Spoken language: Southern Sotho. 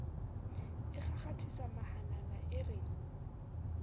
a kgakgathisa mahanana e re